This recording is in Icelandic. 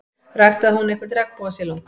Ræktaði hún einhvern regnbogasilung?